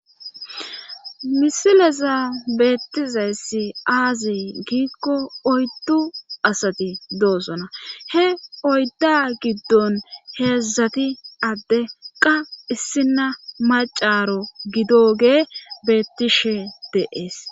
misileza beettizayssi aazi giikko oyddu asati doosona he oydda giddon heezdzati adde qa issina macaro gidoge beettishe deees